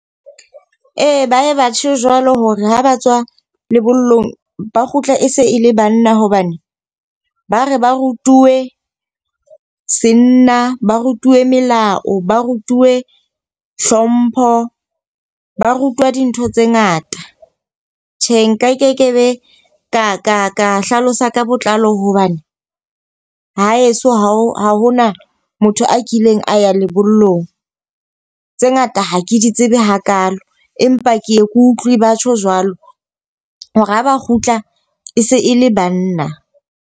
Ee, ba ye batjho jwalo hore ha ba tswa lebollong ba kgutla e se e le banna. Hobane ba re ba rutuwe senna, ba rutuwe melao, ba rutuwe hlompho, ba rutwa dintho tse ngata. Tjhe, nkekebe ka ka ka hlalosa ka botlalo hobane ha heso ha hona motho a kileng a ya lebollong tse ngata ha ke di tsebe hakalo. Empa ke ye ke utlwi batjho jwalo hore ha ba kgutla e se e le banna.